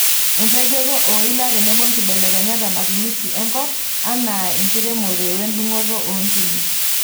Empejoto ooila tenebo nkibelekenyat ematumisi enkop anaa enkiremore wendungoto oontimi.